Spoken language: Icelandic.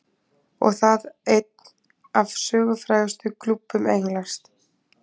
Og það einn af sögufrægustu klúbbum Englands.